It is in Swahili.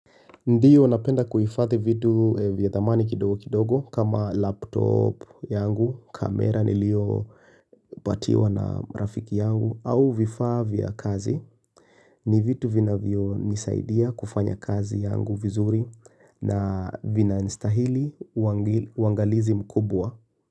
Ndiyo napenda kuhifadhi vitu vya thamani kidogo kidogo kama laptop yangu, kamera niliyopatiwa na rafiki yangu au vifaa vya kazi. Ni vitu vinavyo nisaidia kufanya kazi yangu vizuri na vina nistahili uangalizi mkubwa.